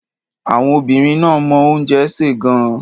Àwọn obìnrin náà mọ oúnjẹ sè gan-an.